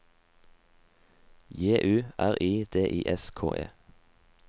J U R I D I S K E